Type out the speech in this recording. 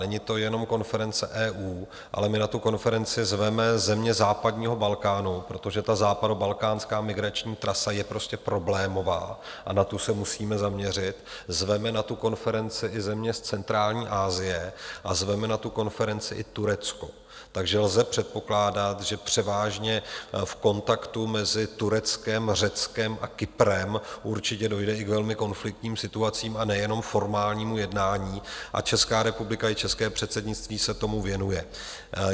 Není to jenom konference EU, ale my na tu konferenci zveme země západního Balkánu, protože ta západobalkánská migrační trasa je prostě problémová a na tu se musíme zaměřit, zveme na tu konferenci i země z centrální Asie a zveme na tu konferenci i Turecko, takže lze předpokládat, že převážně v kontaktu mezi Tureckem, Řeckem a Kyprem určitě dojde i k velmi konfliktním situacím a nejenom formálnímu jednání, a Česká republika i české předsednictví se tomu věnuje.